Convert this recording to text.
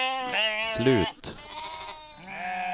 slut